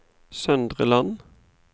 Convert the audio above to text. Søndre Land